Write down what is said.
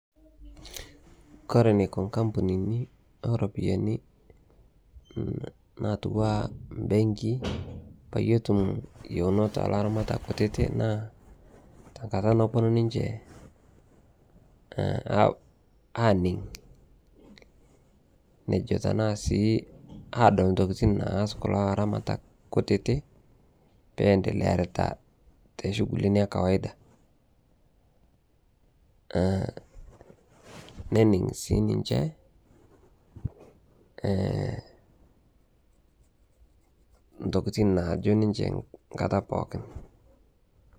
Kore eneiko inkampunini ooropiyiani naitukua imbenkii peeyie etum iyiounot oo laramatak kutitik naa tenkata naponu ninche aaning' nejo tenaa sii adol intokiting' naas kulo aramatak kutitik peentelea ayarita ishugulini ee kawaida nening' sii ninche intokiting' naajo ninche nkata pookin.